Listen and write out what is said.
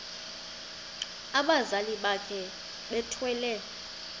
abazali bakhe bethwele